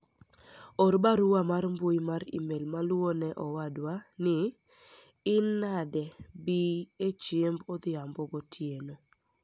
or barua mar mbui mar email maluwo ne owadwa ni in nade bii e chiemb odhimabo gotieno